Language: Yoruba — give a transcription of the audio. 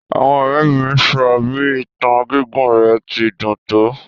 Àwọn ọrẹ mi sọ bi ìtàn gigún rẹ ti dún to.